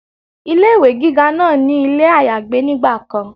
Ilé ìwé gíga náà ní ilé àyágbé nígbà kan